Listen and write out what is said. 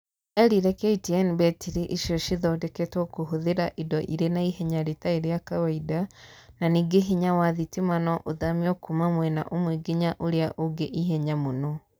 Erire KTN mbetiri icio cithodeketwo kũhũthĩra indo irĩ na ihenya rĩtarĩ rĩa kawaida na ningĩ hinya wa thĩtĩma no ũthamio kuma mwena ũmwe nginya ũrĩa ũngĩ ihenya mũno